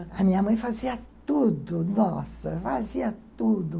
A minha mãe fazia tudo, nossa, fazia tudo.